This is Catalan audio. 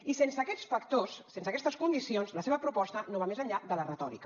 i sense aquests factors sense aquestes condicions la seva proposta no va més enllà de la retòrica